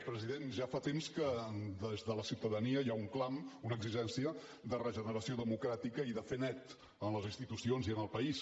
president ja fa temps que des de la ciutadania hi ha un clam una exigència de regeneració democràtica i de fer net en les institucions i en el país